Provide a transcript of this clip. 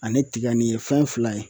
Ani tiga nin ye fɛn fila ye